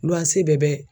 bɛɛ bɛ